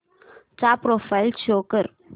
चा profile show कर